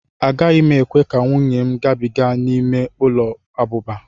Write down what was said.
Agaghị m ekwe ka nwunye m gabiga n'ime ụlọ abụba.